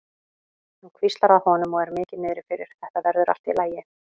Hann hvíslar að honum og er mikið niðri fyrir: Þetta verður allt í lagi.